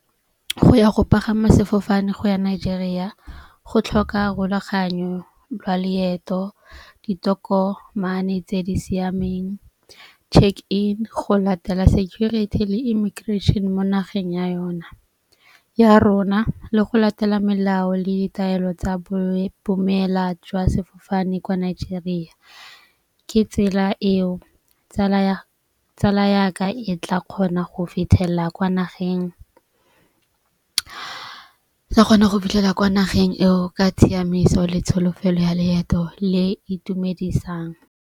Go ya go pagama sefofane go ya Nigeria go tlhoka rulaganyo lwa leeto, ditokomane tse di siameng, check in, go latela security le immigration mo nageng ya yona, ya rona le go latela melao le ditaelo tsa boemela jwa sefofane kwa Nigeria. Ke tsela eo tsala ya ka e tla kgona go fitlhelela kwa nageng. Ke kgona go fitlhella kwa nageng eo ka tshiamiso le tsholofelo ya leeto le itumedisang.